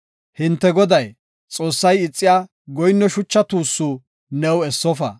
Hinte Goday, Xoossay ixiya goyinno shucha tuussu new essofa.